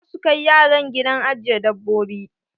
Za su kai yaran gidan ajiye dabbobi.